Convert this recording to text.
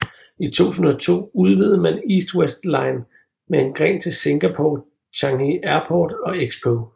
I 2002 udvidede man East West Line med en gren til Singapore Changi Airport og Expo